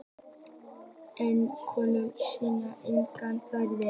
En könnunin sýnir einnig fleira.